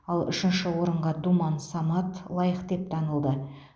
ал үшінші орынға думан самат лайық деп танылды